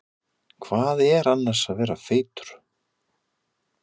Hvað er annars að vera feitur?